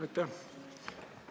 Aitäh!